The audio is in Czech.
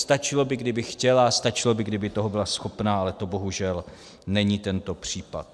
Stačilo by, kdyby chtěla, stačilo by, kdyby toho byla schopna, ale to bohužel není tento případ.